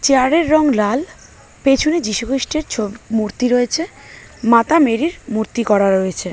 চেয়ারের রং লালপেছনে যীশু খৃষ্টের মূর্তি রয়েছে মাতা মেরির মূর্তি করা রয়েছে।